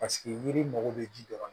Paseke yiri mago bɛ ji dɔrɔn na